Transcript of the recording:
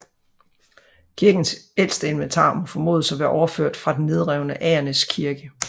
Kirkens ældste inventar må formodes at være overført fra den nedrevne Agernæs Kirke